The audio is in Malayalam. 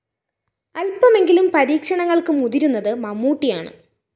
അല്‍പമെങ്കിലും പരീക്ഷണങ്ങള്‍ക്ക് മുതിരുന്നത് മമ്മൂട്ടിയാണ്